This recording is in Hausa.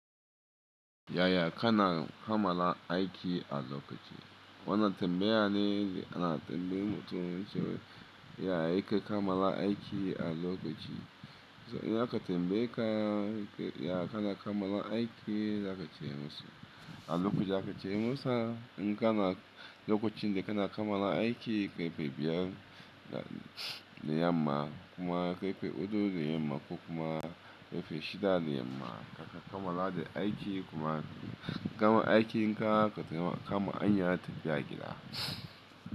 Yaya kana kammala aiki a lokaci? Wannan tambaya ne ana tambayi mutum cewa yaya yake kamala aiki a lokaci. To, idan aka tambayeka yaya kana kamala aiki za ka ce mu su a lokaci za ka ce masa inga ma lokacin da ka na kamala aiki ƙarfe biyar da yamma kuma ƙarfe huɗu da yamma ko kuma ƙarfe shida da yamma ka kamala da aiki kuma kagama aikin ka kakama hanya ta figida.